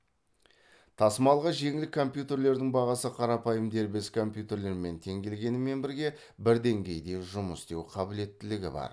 тасымалға жеңіл компьютерлердің бағасы қарапайым дербес компьютерлермен тең келгенімен бірге бір деңгейде жұмыс істеу қабілеттілігі бар